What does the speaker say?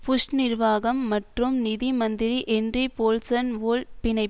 push நிர்வாகம் மற்றும் நிதி மந்திரி ஹென்றி போல்சன் வோல் பிணையில்